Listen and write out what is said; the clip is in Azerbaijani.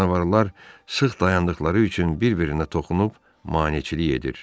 Canavarlar sıx dayandıqları üçün bir-birinə toxunub maneçilik edir.